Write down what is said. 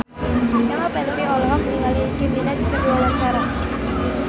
Kemal Palevi olohok ningali Nicky Minaj keur diwawancara